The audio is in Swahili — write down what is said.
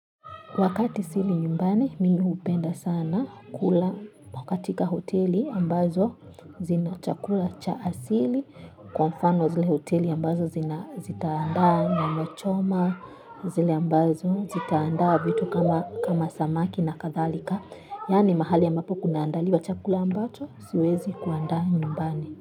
Wakati sili nyumbani, mimi upenda sana kula katika hoteli ambazo zina chakula cha asili. Kwa mfano zile hoteli ambazo zitaandaa nyama choma, zile ambazo zitaandaa vitu kama samaki na kadhalika. Yaani mahali ambapo kunaandaliwa chakula ambacho, siwezi kuandaa nyumbani.